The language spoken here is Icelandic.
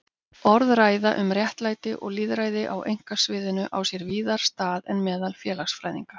Orðræða um réttlæti og lýðræði á einkasviðinu á sér víðar stað en meðal félagsfræðinga.